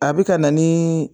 A be ka na nii